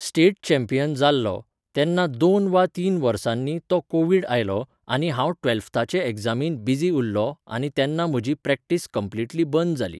State champion जाल्लों, तेन्ना दोन वा तीन वर्सांनी तो कोव्हिड आयलो आनी हांव ट्व्हेल्थाच्या एग्जामींत बिझी उरलों आनी तेन्ना म्हजी प्रॅक्टिस कंप्लिटली बंद जाली.